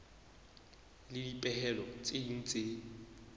le dipehelo tse ding tse